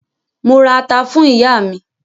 Mo ra ata fún ìyá mi.